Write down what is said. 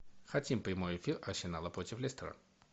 хотим прямой эфир арсенала против лестера